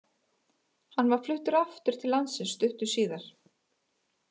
Hann var fluttur aftur til landsins stuttu síðar.